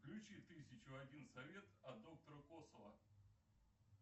включи тысячу один совет от доктора косова